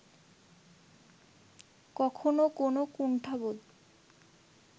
কখনো কোনো কুণ্ঠাবোধ